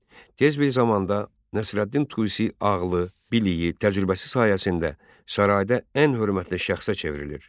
Tez bir zamanda Nəsrəddin Tusi ağlı, biliyi, təcrübəsi sayəsində sarayda ən hörmətli şəxsə çevrilir.